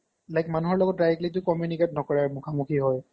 like মানুহৰ লগত directly টো communicate নকৰে মুখামুখি হয়